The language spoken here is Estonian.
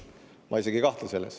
Ma isegi ei kahtle selles.